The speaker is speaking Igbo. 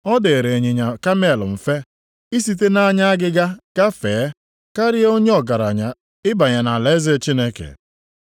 Ọ dịrị ịnyịnya kamel mfe isite nʼanya agịga gafee, karịa onye ọgaranya ịbanye nʼalaeze Chineke.”